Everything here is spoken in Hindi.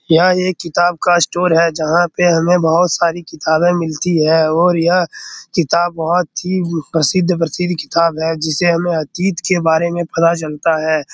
यह एक किताब का स्टोर है जहाँ पे हमें बहुत सारी किताबें मिलती हैं और यह किताब बहुत ही प्रसिद्ध-प्रसिद्ध किताब है जिसे हमें अतीत के बारे में पता चलता है।